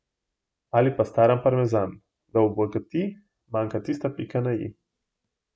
Ali pa staran parmezan, da obogati, manjka tista pika na i.